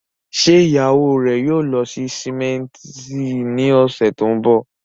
Ṣé ìyàwó rẹ̀ yóò lọ sí símẹ́ńtì ní ọ̀sẹ̀ tó ń bọ̀?